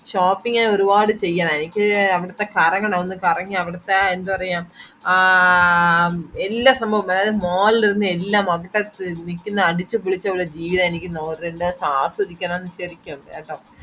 shopping ഞാൻ ഒരുപാട് ചെയ്യണം എനിക്ക് അവിടത്തെ കറങ്ങണം ഒന്ന് കറങ്ങി അവിടത്തെ ആ എന്തപറയ ആ എല്ലോ സംഭാവോം അതാത് mall ല് ഉല്ല എല്ലാം അവടത്തെ നിക്കുന്ന അടിച്ചുപൊളിച്ചുള്ള ജീവിതം എനിക്ക് ആസ്വദിക്കണം ശരിക്കും കേട്ടോ